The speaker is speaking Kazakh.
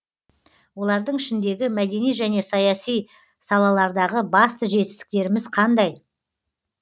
олардың ішіндегі мәдени және саяси салалардағы басты жетістіктеріміз қандай